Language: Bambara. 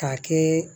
K'a kɛ